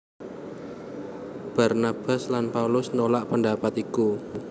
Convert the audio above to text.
Barnabas lan Paulus nolak pendapat iku